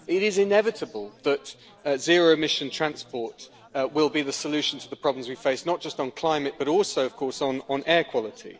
It is inevitable that zero emissions transport will be the solution to the problems we face, not just on climate but also, of course, on air quality.